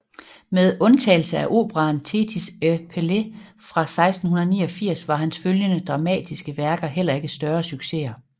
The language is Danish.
Med undtagelse af operaen Thétis et Pélée fra 1689 var hans følgende dramatiske værker heller ikke større succeser